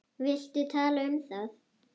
Viltu tala um það?